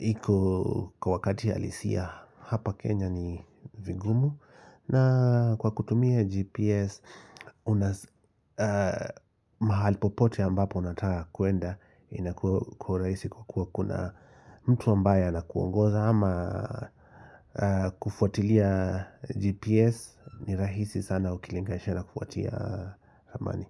iko kwa wakati halisia hapa Kenya ni vigumu na kwa kutumia GPS, una mahali popote ambapo unataka kuenda inakuwa rahisi kwa kuwa kuna mtu ambaye anakuongoza, ama kufuatilia GPS, ni rahisi sana ukilinganisha na kufuatia ramani.